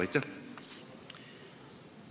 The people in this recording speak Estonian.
Aitäh!